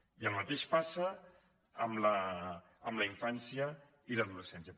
i el mateix passa amb la infància i l’adolescència